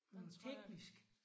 Der tror jeg